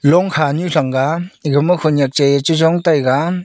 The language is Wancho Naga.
long kha nu chega nega khanak nu chonga taiga.